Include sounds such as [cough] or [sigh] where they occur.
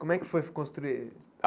Como é que foi [unintelligible] construir? ah